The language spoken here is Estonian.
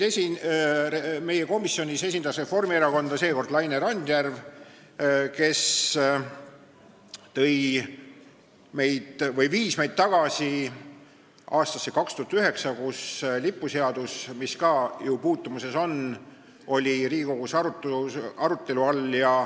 Meie komisjonis esindas Reformierakonda seekord Laine Randjärv, kes viis meid tagasi aastasse 2009, kui lipuseadus, mis ka ju selle teemaga puutumuses on, oli Riigikogus arutelu all.